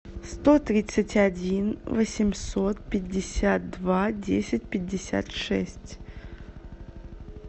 сто тридцать один восемьсот пятьдесят два десять пятьдесят шесть